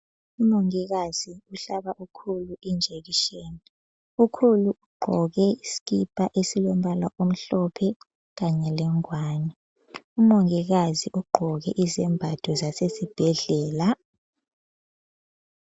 Umongikazi uhlaba ukhulu injekisheni, ukhulu ugqoke isikipa esilombala omhlophe kanye lengwani. Umongikazi ugqoke izembatho zasesibhedlela.